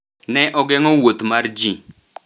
Ne ogeng’o wuoth mar ji.